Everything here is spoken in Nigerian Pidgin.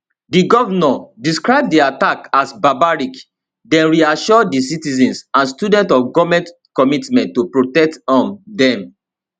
di govnor describe di attack as barbaric den reassure di citizens and students of goment commitment to protect um dem